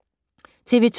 TV 2